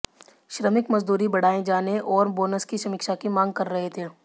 श्रमिक मजदूरी बढ़ाए जाने और बोनस की समीक्षाा की मांग कर रहे थे